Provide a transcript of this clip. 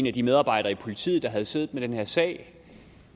af de medarbejdere i politiet der havde siddet med den her sag